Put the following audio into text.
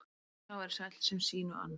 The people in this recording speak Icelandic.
Sá er sæll sem sínu ann.